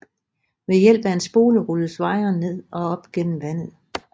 Ved hjælp af en spole rulles wiren ned og op gennem vandet